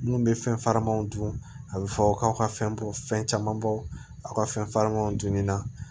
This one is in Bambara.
Minnu bɛ fɛn farimanw dun a bɛ fɔ k'aw ka fɛn bɔ fɛn camanbaw ka fɛn faamaw dunni na